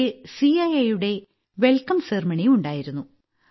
ഇടയ്ക്ക് ഐറ്റ് യുടെ വെൽക്കം സെറിമണി ഉണ്ടായിരുന്നു